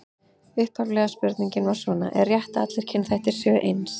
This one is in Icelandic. Upphaflega spurningin var svona: Er rétt að allir kynþættir séu eins?